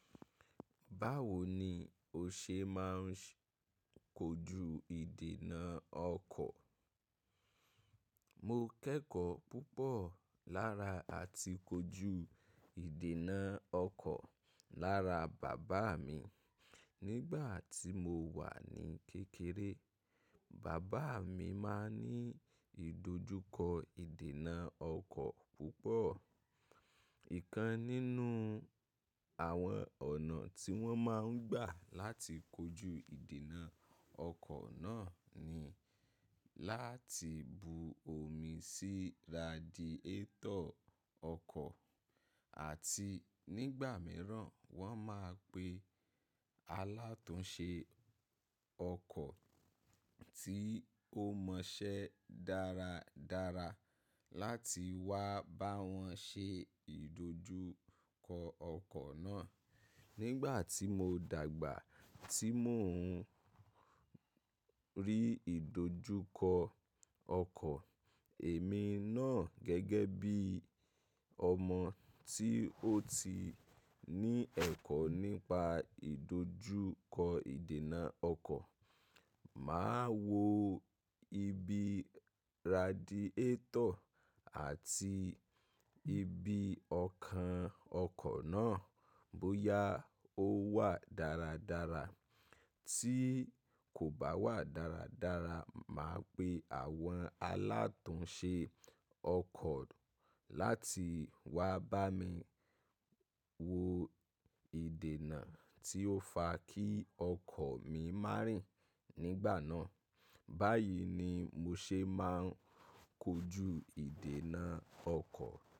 Báwo ni o ṣe máa ń kojú ìdènà ọkọ̀? Mo kẹ́kọ̀ọ́ púpọ̀ lára àti kojú ìdènà ọkọ̀ lára bàbáa mi. Nigbati mo wa ni kekere, baba mi ma n ni idojuko idena oko pupo. Ìkan nínú àwọn ọ̀nà tí wọ́n máa ń gbà láti kojú ìdènà ọkọ̀ náà ni láti bu omi sí radiétọ̀ ọkọ̀ àti nígbà mìíràn wọ́n máa pe alátùnse ọkọ̀ tí ó mọṣẹ́ dáradára láti wá bá wọn ṣe ìdojúkọ ọkọ̀ náà. Nígbà tí mo dàgbà tí mo ń rí ìdojúkọ ọkọ̀, èmi náà gẹ́gẹ́ bí ọmọ tí ó ti ní ẹ̀kọ́ nípa ìdojúkọ ìdènà ọkọ̀, màá wo ibi radiétọ̀ àti ibi ọkàn ọkọ̀ náà bóyá ó wà dáradára. Tí kò bá wà dáradára, màá pe àwọn alátùnse ọkọ̀ láti wá bá mi wo ìdènà tí ó fa kí ọkọ̀ mi má rìn nígbà náà. Bayii ni mo se ma n koju idena oko.